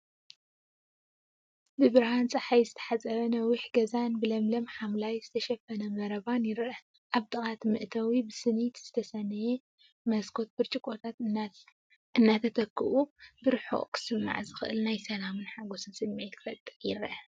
ብብርሃን ጸሓይ ዝተሓጽበ ነዊሕ ገዛን ብለምለም ሓምላይ ዝተሸፈነ መረባን ይርአ። ኣብ ጥቓ እቲ መእተዊ፡ ብስኒት ዝተሰነየ መስኮት ብርጭቆታት እናተተክኡ፡ ብርሑቕ ክስማዕ ዝኽእል ናይ ሰላምን ሓጎስን ስምዒት ክፈጥር ይረአ።